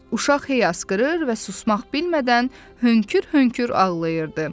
Uşaq hey asqırır və susmaq bilmədən hönkür-hönkür ağlayırdı.